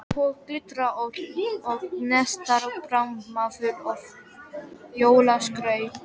Hún glitrar og gneistar, barmafull af jólaskrauti.